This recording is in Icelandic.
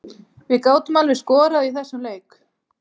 Við gátum alveg skorað í þessum leik.